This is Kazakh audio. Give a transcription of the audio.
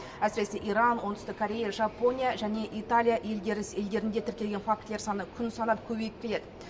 әсіресе иран оңтүстік корея жапония және италия елдерінде тіркелген фактілер саны күн санап көбейіп келеді